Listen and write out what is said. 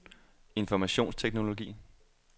informationsteknologi